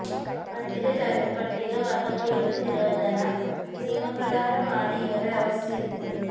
പട്ടിക ജാതി പട്ടിക വർഗ പീഡഡ നിരോധന നിയമപ്രകാരമാണ് ഇവരെ അറസ്റ്റ് ചെയ്തത്